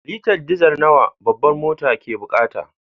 Litar diesel nawa babbar motar ke bukata.